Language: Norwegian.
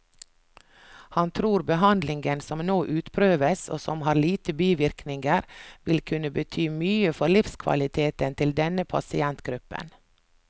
Han tror behandlingen som nå utprøves, og som har lite bivirkninger, vil kunne bety mye for livskvaliteten til denne pasientgruppen.